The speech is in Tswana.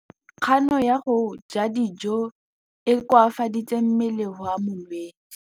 Kganô ya go ja dijo e koafaditse mmele wa molwetse.